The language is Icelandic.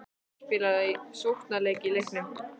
Á að spila sóknarleik í leiknum?